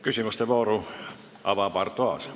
Küsimuste vooru avab Arto Aas.